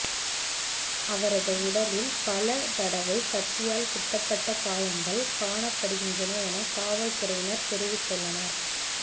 அவரது உடலில் பல தடவை கத்தியால் குத்தப்பட்ட காயங்கள் காணப்படுகின்றன என காவல்துறையினர் தெரிவித்துள்ளனர்